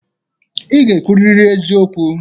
Ị ga-ekwuriri eziokwu.